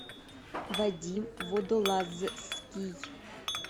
вадим водолазский